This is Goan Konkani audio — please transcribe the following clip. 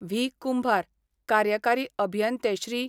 व्ही, कुंभार, कार्यकारी अभियंते श्री.